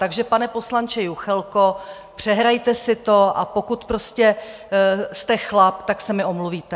Takže pane poslanče Juchelko, přehrajte si to, a pokud prostě jste chlap, tak se mi omluvíte.